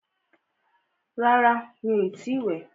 Rárá, mí o ti ì wẹ̀.